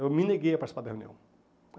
Eu me neguei a participar da reunião.